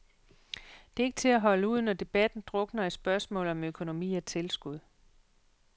Det er ikke til at holde ud, når debatten drukner i spørgsmål om økonomi og tilskud.